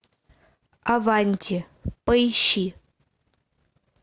аванти поищи